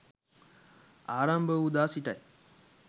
ආරම්භ වූ දා සිටයි.